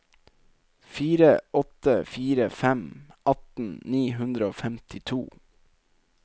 fire åtte fire fem atten ni hundre og femtito